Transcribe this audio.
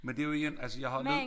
Men det jo igen altså jeg har lidt